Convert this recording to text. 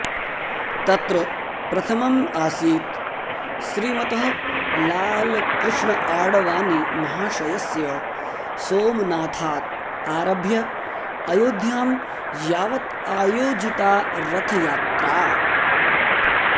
तत्र प्रथमम् आसीत् श्रीमतः लाल कृष्ण आडवाणीमहाशयस्य सोमनाथात् आरभ्य अयोध्यां यावत् आयोजिता रथयात्रा